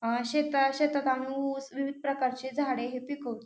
अ शेतात शेतात आम्ही ऊस विविध प्रकारचे झाडे हे पिकवतो.